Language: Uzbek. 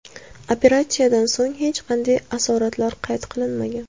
Operatsiyadan so‘ng hech qanday asoratlar qayd qilinmagan.